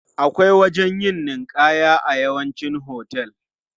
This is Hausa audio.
Akwai wajen yin ninƙaya a yawancin hotel.